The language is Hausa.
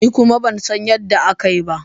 Ni kuma ban san yadda aka yi ba.